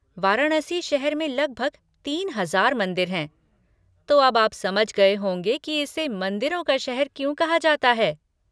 वाराणसी शहर में लगभग तीन हजार मंदिर हैं, तो अब आप समझ गए होंगे कि इसे 'मंदिरों का शहर' क्यों कहा जाता है।